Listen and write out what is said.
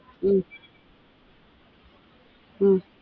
உம் உம்